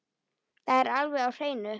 Það er alveg á hreinu.